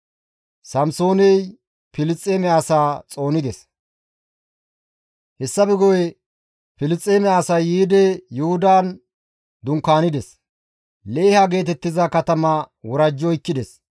Hessafe guye Filisxeeme asay yiidi Yuhudan dunkaanides; Leeha geetettiza katama worajji oykkides.